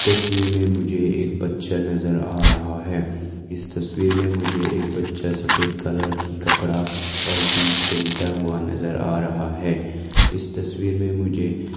तस्वीर में मुझे एक बच्चा नजर आ रहा है इस तस्वीर में मुझे एक बच्चा सफेद कलर की कपड़ा और जींस पहता हुआ नजर आ रहा है इस तस्वीर में मुझे--